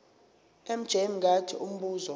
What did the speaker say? mj mngadi umbuzo